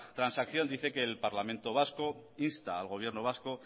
transacción dice que el parlamento vasco insta al gobierno vasco